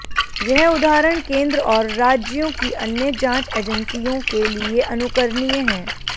यह उदाहरण केंद्र और राज्यों की अन्य जांच एजैंसियों के लिए अनुकरणीय है